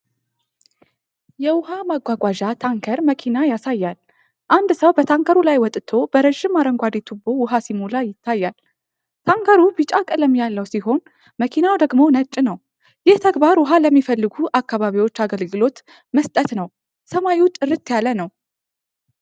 የውሃ ማጓጓዣ ታንከር መኪና ያሳያል። አንድ ሰው በታንከሩ ላይ ወጥቶ በረዥም አረንጓዴ ቱቦ ውሃ ሲሞላ ይታያል። ታንከሩ ቢጫ ቀለም ያለው ሲሆን መኪናው ደግሞ ነጭ ነው። ይህ ተግባር ውሃ ለሚፈልጉ አካባቢዎች አገልግሎት መስጠት ነው። ሰማዩ ጥርት ያለ ነው።